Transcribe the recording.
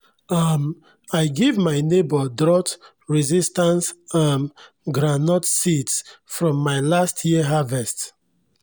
um i give my neighbor drought-resistant um groundnut seeds from my last year harvest